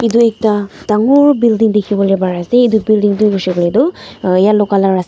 edu ekta dangor building dikhiwolae parease edu building tu hoishey koilae tu yellow colour ase.